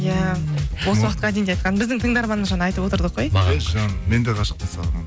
иә осы уақытқа дейін де айтқан біздің тыңдарманымыз жаңа айтып отырдық қой мен де ғашықпын саған